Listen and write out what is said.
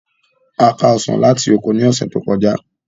A ká Ọsàn láti oko ní ọ̀sẹ̀ tó kọjá